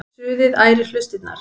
Suðið ærir hlustirnar.